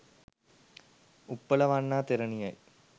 Uppalavanna තෙරණියයි.